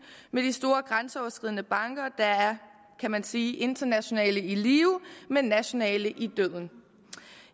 med de store grænseoverskridende banker der er kan man sige internationale i live men nationale i døden